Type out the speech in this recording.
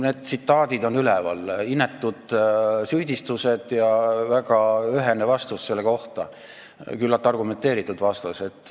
Need tsitaadid on olemas, inetud süüdistused ja väga ühene vastus selle peale, küllalt argumenteeritud vastus.